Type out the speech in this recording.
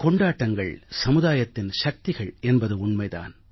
கொண்டாட்டங்கள் சமுதாயத்தின் சக்திகள் என்பது உண்மை தான்